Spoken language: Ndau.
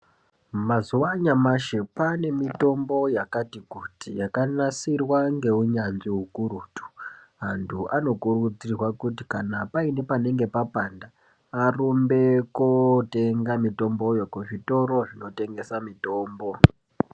Mazuva anyamashi kwane mitombo yakati kuti yakanasirwa ngeunyanzvi hukurutu. Antu anokurudzirwa kuti kana paine panenge papanda arumbe kotenga mitomboyo kuzvitoro zvinotengesa mitombo.